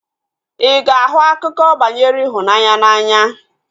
Ị ga-ahụ akụkọ banyere ịhụnanya n'anya?